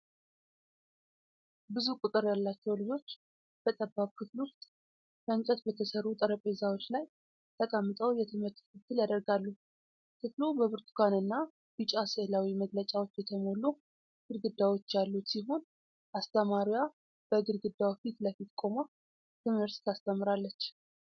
ብዙ ቁጥር ያላቸው ልጆች በጠባብ ክፍል ውስጥ ከእንጨት በተሠሩ ጠረጴዛዎች ላይ ተቀምጠው የትምህርት ክትትል ያደርጋሉ። ክፍሉ በብርቱካንና ቢጫ ሥዕላዊ መግለጫዎች የተሞሉ ግድግዳዎች ያሉት ሲሆን፤ አስተማሪዋ በግድግዳው ፊት ለፊት ቆማ ትምህርት ታስተምራለች።